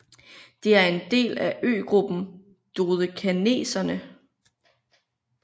Det er en del af øgruppen Dodekaneserne